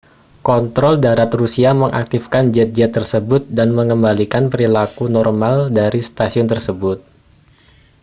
kontrol darat rusia mengaktifkan jet-jet tersebut dan mengembalikan perilaku normal dari stasiun tersebut